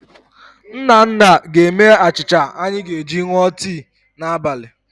Nnanna ga-eme achịcha anyị ga-eji ṅụọ tii n'abalị.